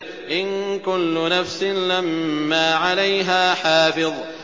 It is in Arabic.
إِن كُلُّ نَفْسٍ لَّمَّا عَلَيْهَا حَافِظٌ